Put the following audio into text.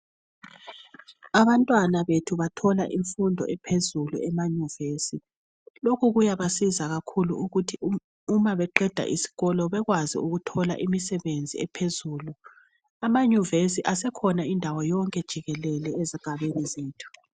Abantwana bethu bathola imfundo ephezulu emaYunivesi. Lokhu kuyabasiza kakhulu ukuthi uma beqeda isikolo bekwazi ukuthola imsebenzi ephezulu. AmaYunivesi asekhona indawo yonke jikelele ezigabeni zethu.